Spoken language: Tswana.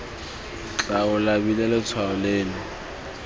tla o labile letshwao leno